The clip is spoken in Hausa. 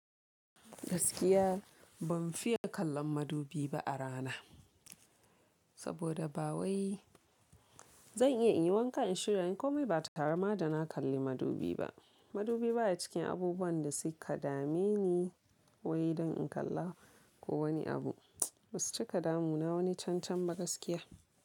Gaskiya ban fiye kallon madubi ba a rana, saboda ba wai zan iya in yi wankan in shirya. Ko mai ba tare ma da na kalli madubi ba. Madubi ba ya cikin abubuwan da suka dame ni, wai don in kalla ko wani abu. Basu ci kadamu na wani cancan ba gaskiya.